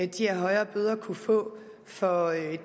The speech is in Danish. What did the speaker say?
de her højere bøder kunne få for